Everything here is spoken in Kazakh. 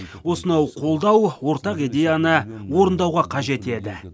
осынау қолдау ортақ идеяны орындауға қажет еді